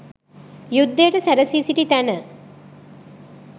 යුද්ධයට සැරැසී සිටි තැන